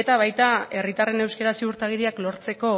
eta baita herritarren euskara ziurtagiriak lortzeko